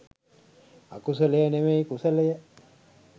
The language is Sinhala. අකුසලය නෙවෙයි කුසලය